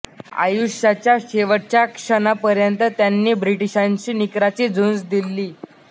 आयुष्याच्या शेवटच्या क्षणापर्यंत त्यांनी ब्रिटीशांशी निकराची झुंज दिली